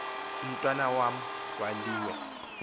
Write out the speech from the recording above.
umntwana wam kwaliwe